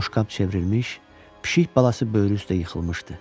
Boşqab çevrilmiş, pişik balası böyrü üstə yıxılmışdı.